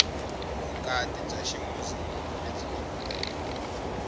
vukati bya ximuzilimi lebyi endliweke